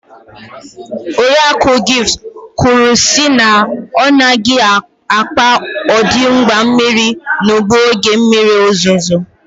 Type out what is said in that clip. Oriakụ Gift kwuru sị na ọ nweghị mkpa odị ịgba mmiri n'ugbo n'oge mmiri ozuzo.